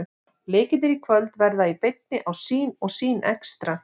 Leikirnir í kvöld verða í beinni á Sýn og Sýn Extra.